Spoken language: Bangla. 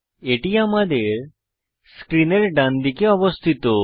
এটি আমাদের স্ক্রিনের ডানদিকে অবস্থিত